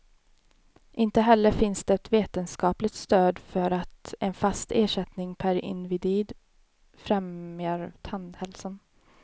Inte heller finns det vetenskapligt stöd för att en fast ersättning per individ främjar tandhälsan.